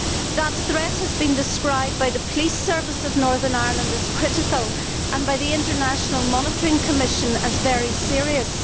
That threat has been described by the Police Service of Northern Ireland as critical' and by the International Monitoring Commission as very serious'.